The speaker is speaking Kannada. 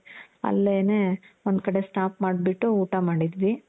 ಅಲ್ಲನೆ ಒಂದು ಕಡೆ stop ಮಾಡ್ಬಿಟ್ಟು ಊಟ ಮಾಡಿದ್ವಿ .